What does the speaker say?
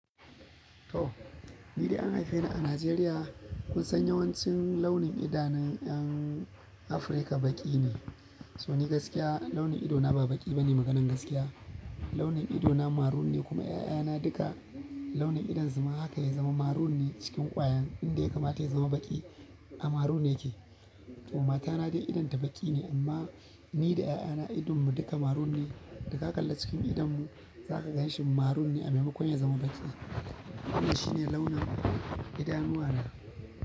To, ni dai an haife ni a najeriya. Kun san yawancin launin idanun 'yan Afirka baƙi ne, so ni gaskiya launin idona ba baƙi ba ne maganan gaskiya. Launin idona maroon ne kuma ƴaƴana duka launin idan su ma haka ya zama maroon ne cikin ƙwayan inda ya kamata ya zama baƙi a maroon yake. Mata na dai idon ta baki ne amma ni da ƴaƴana idonmu duka maroon ne, da ka kalla cikin idonmu za ka ganshi maroon ne a maimakon ya zama baƙi. Wannan shine launin idanuwa na.